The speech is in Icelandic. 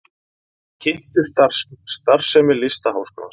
Kynntu starfsemi Listaháskólans